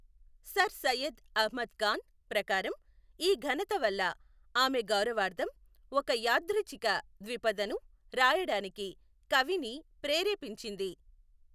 Sir Syed Ahmad Khan ప్రకారం, ఈ ఘనత వల్ల ఆమె గౌరవార్థం ఒక యాదృచ్ఛిక ద్విపదను రాయడానికి కవిని ప్రేరేపించింది.